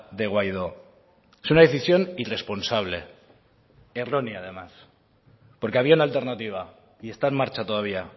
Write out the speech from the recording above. de guaidó es una decisión irresponsable errónea además porque había una alternativa y está en marcha todavía